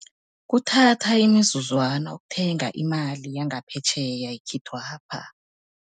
Kuthatha imizuzwana ukuthenga imali yangaphetjheya ekhethwapha.